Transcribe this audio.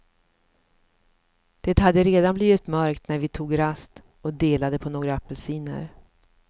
Det hade redan blivit mörkt när vi tog rast och delade på några apelsiner.